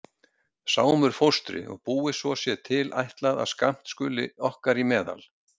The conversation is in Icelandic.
Sámur fóstri og búið svo sé til ætlað að skammt skuli okkar í meðal.